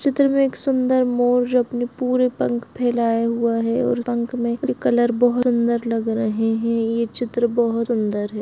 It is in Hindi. चित्र में एक सुन्दर मोर अपने पूरे पंख फैलाए हुए है और पंख में ये कलर बहुत सुन्दर लग रहे है यह चित्र बहुत सुंदर है।